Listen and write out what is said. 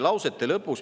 – üks sõna.